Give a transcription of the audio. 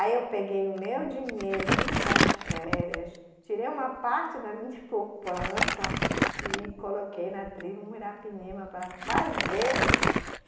Aí eu peguei o meu dinheiro, tudo das férias, tirei uma parte da minha poupança e coloquei na tribo Muirapinima para fazer.